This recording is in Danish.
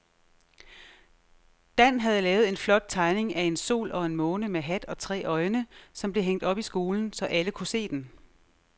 Dan havde lavet en flot tegning af en sol og en måne med hat og tre øjne, som blev hængt op i skolen, så alle kunne se den.